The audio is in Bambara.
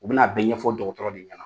U bɛna bɛɛ ɲɛfɔ dɔgɔtɔrɔ de ɲɛna